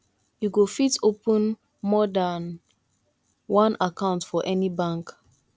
you go fit open more dan one account for any bank